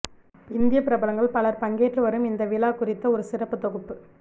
இந்திய பிரபலங்கள் பலர் பங்கேற்று வரும் இந்த விழா குறித்த ஒரு சிறப்புத் தொகுப்பு